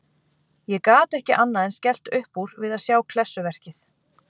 Ég gat ekki annað en skellt upp úr við að sjá klessuverkið.